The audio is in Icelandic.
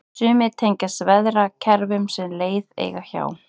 sumar tengjast veðrakerfum sem leið eiga hjá